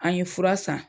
An ye fura san